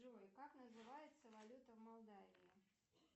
джой как называется валюта в молдавии